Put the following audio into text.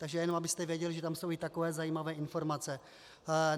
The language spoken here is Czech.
Takže jenom abyste věděli, že tam jsou i takové zajímavé informace.